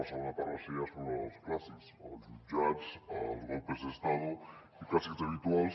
la segona part va ser ja sobre els clàssics els jutjats els golpes de estado i clàssics habituals